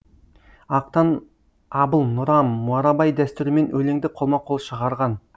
ақтан абыл нұрам марабай дәстүрімен өлеңді қолма қол шығарған